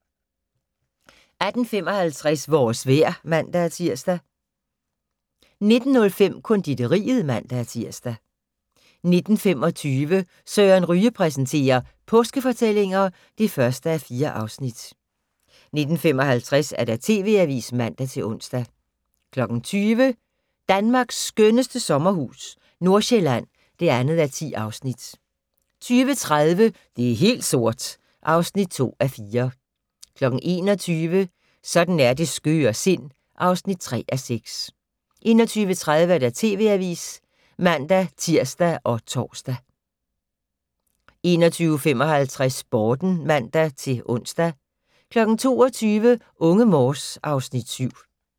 18:55: Vores vejr (man-tir) 19:05: Konditoriet (man-tir) 19:25: Søren Ryge præsenterer: Påskefortællinger (1:4) 19:55: TV Avisen (man-ons) 20:00: Danmarks skønneste sommerhus - Nordjylland (2:10) 20:30: Det er helt sort (2:4) 21:00: Sådan er det skøre sind (3:6) 21:30: TV Avisen (man-tir og tor) 21:55: Sporten (man-ons) 22:00: Unge Morse (Afs. 7)